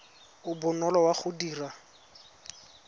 o bonolo wa go dira